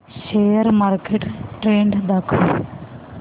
share market trend दाखव